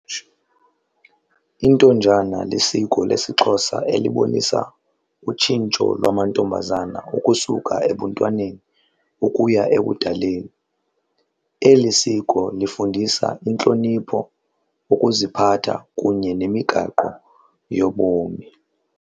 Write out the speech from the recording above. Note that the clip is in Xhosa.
Intonjana lisiko lesiXhosa elibonisa utshintsho lwamantombazana ukusuka ebuntwaneni ukuya ebudaleni. Eli siko lifundisa intlonipho, ukuziphatha kunye nemigaqo yobomi.